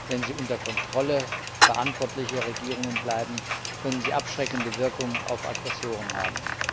Wenn sie unter Kontrolle verantwortlicher Regierungen bleiben, können sie abschreckende Wirkung auf Aggressoren haben.